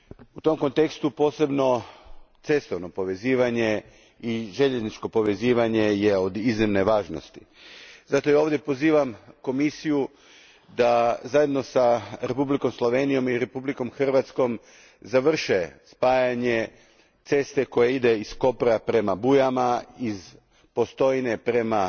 U tom kontekstu posebno su cestovno povezivanje i željezničko povezivanje od iznimne važnosti. Zato ja ovdje pozivam Komisiju da zajedno s Republikom Slovenijom i Republikom Hrvatskom završe spajanje ceste koja ide iz Kopra prema Bujama, iz Postojne prema